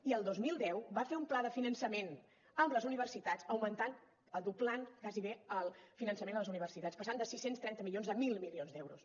i el dos mil deu va fer un pla de finançament amb les universitats augmentant doblant gairebé el finançament a les universitats passant de sis cents i trenta milions a mil milions d’euros